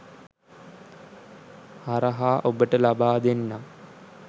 හරහා ඔබට ලබා දෙන්නම්.